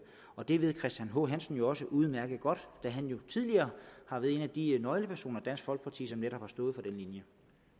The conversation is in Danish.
og det ved herre christian h hansen jo også udmærket godt da han tidligere har været en af de nøglepersoner i dansk folkeparti som netop har stået for linje